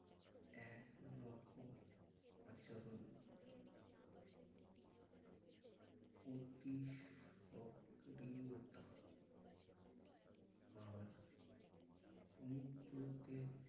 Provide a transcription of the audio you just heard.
এতরকম আচরণ অতি সক্রিয়তা আর অনুব্রতের